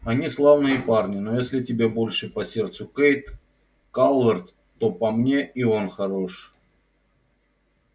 они славные парни но если тебе больше по сердцу кэйд калверт то по мне и он хорош